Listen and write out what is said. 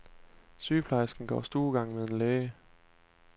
Sygeplejersken går stuegang med en læge.